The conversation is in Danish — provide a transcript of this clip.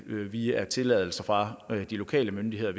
via tilladelser fra de lokale myndigheder